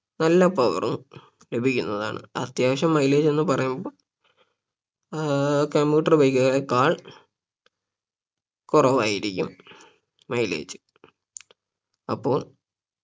നല്ല power ഉം ലഭിക്കുന്നതാണ് അത്യാവശ്യം mileage എന്ന് പറയുമ്പോ ആഹ് commuter bike കളേക്കാൾ കുറവായിരിക്കും mileage അപ്പോൾ